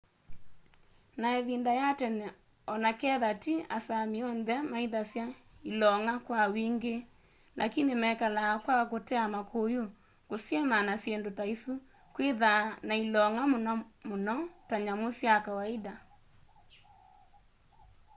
na ivinda ya tene onaketha ti asámi onthe maithasya ilong'a kwa wingi lakini mekalaa kwa kutea makuyu kusyima na sindu taisu kwitha na ilong'a muno muno ta nyamu ya kawaida